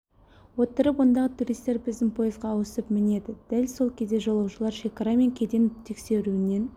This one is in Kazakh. отырып ондағы туристер біздің пойызға ауысып мінеді дәл сол кезде жолаушылар шекара мен кеден тексеруінен